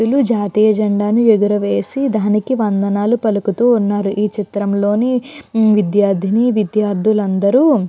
వీళ్ళు జాతీయ జెండాను ఎగర వేసి దానికి వందనాలు పలుకుతూ ఉన్నారు ఈ చిత్రం లోని విద్యార్ధిని విద్యార్ధులు అందరూ --